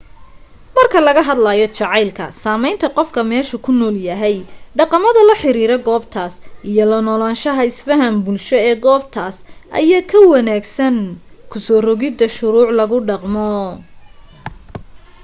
marka laga hadlayo jaceylka sameynta qofka meeshu ku nool yahay dhaqamada la xiriira goobtas iyo la noolashaha isfahan bulsho ee goobtas ayaa ka wanaagsan kusoo rogida shuruuc lagu dhaqmo